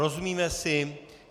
Rozumíme si?